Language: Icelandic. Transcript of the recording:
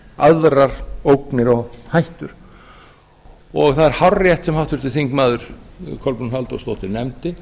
aðrar ógnir og hættur það er hárrétt sem háttvirtur þingmaður kolbrún halldórsdóttir nefndi